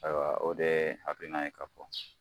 Ayiwa o de ye a bɛn'a ye k'a fɔ